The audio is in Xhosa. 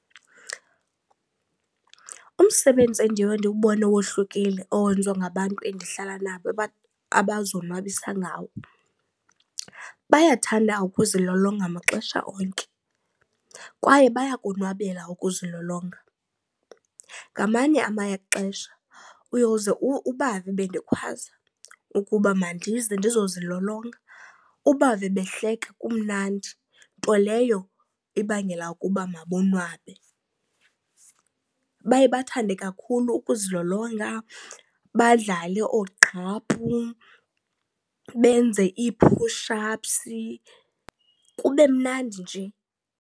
Umsebenzi endiye ndiwubone wohlukile owenziwa ngabantu endihlala nabo abazonwabisa ngawo bayathanda ukuzilolonga maxesha onke kwaye bayakonwabela ukuzilolonga. Ngamanye amaxesha uyoze ubave bendikhwaza ukuba mandize ndizokuzilolonga, ubave behleka kumnandi, nto leyo ibangela ukuba mabonwabe. Baye bathande kakhulu ukuzilolonga, badlale oogqaphu, benze iiphush aphsi, kube mnandi nje.